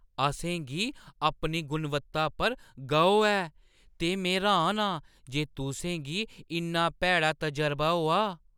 असें गी अपनी गुणवत्ता पर गौह् ऐ ते में र्‌हान आं जे तुसें गी इन्ना भैड़ा तजरबा होआ।